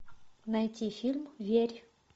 найти фильм верь